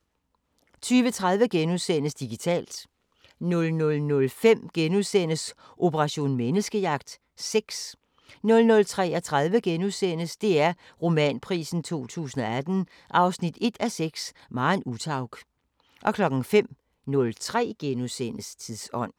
20:30: Digitalt * 00:05: Operation Menneskejagt: Sex * 00:33: DR Romanprisen 2018 1:6 – Maren Uthaug * 05:03: Tidsånd *